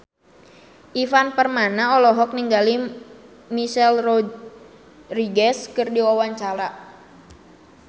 Ivan Permana olohok ningali Michelle Rodriguez keur diwawancara